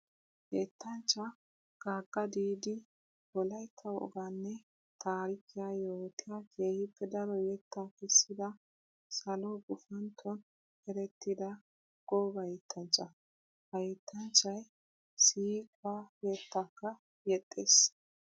Yettanchcha gaga didi wolaytta woganne taarikiya yootiya keehippe daro yetta kessidda salo gufantton erettidda gooba yettanchcha. Ha yettanchchay siiquwa yettakka yexxees.